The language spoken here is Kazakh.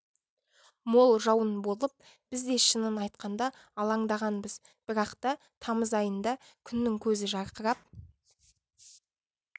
мол жауын болып біз де шынын айтқанда алаңдағанбыз бірақ та тамыз айында күннің көзі жарқырап